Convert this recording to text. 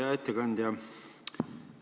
Hea ettekandja!